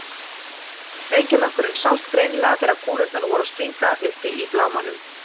Reykjarmökkurinn sást greinilega þegar kúlurnar voru að springa uppi í blámanum.